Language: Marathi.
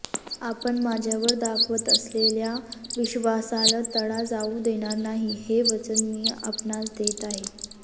आपण माझ्यावर दाखवत असलेल्या विश्वासाल तडा जाऊ देणार नाही हे वचन मी आपणास देत आहे